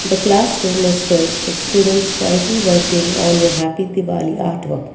the class room is filled with students quietly working on a happy diwali art work.